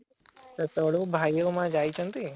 ସେତେବେଳୁ ଭାଇ ଆଉ ମା ଯାଇଛନ୍ତି